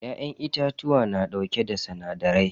Ya'yan itatuwa na dauke da sinadarai.